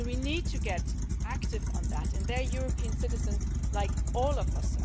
So we need to get active on that. They are European citizens like all of us.